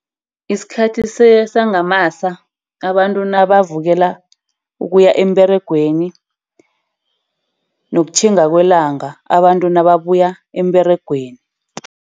Isikhathi sangamasa, abantu nabavukela ukuya emberegweni. Nokutjhinga kwelanga abantu nababuya emberegweni.